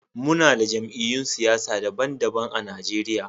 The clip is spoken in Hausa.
Muna da jamiyy'un siyasa daban-daban a Najeriya